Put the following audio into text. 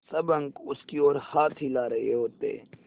सब अंक उसकी ओर हाथ हिला रहे होते